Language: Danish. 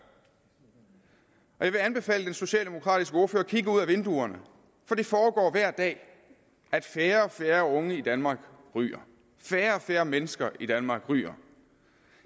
og jeg vil anbefale den socialdemokratiske ordfører at kigge ud af vinduerne for det forekommer hver dag at færre og færre unge i danmark ryger færre og færre mennesker i danmark ryger